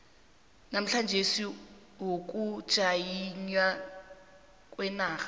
namaejensi wokujanyelwa kwenarha